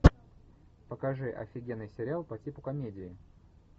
покажи офигенный сериал по типу комедии